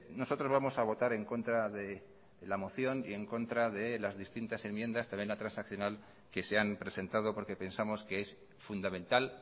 nosotros vamos a votar en contra de la moción y en contra de las distintas enmiendas también la transaccional que se han presentado porque pensamos que es fundamental